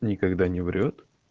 никогда не врёт